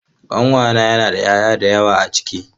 Kankana yana da 'ya'ya da yawa a ciki.